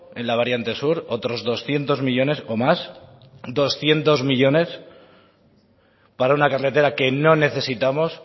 en la variante sur otros doscientos millónes o más doscientos millónes para una carretera que no necesitamos